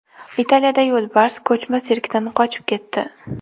Italiyada yo‘lbars ko‘chma sirkdan qochib ketdi .